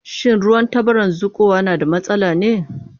Shin ruwan tabaran zuƙowa na da matsala ne?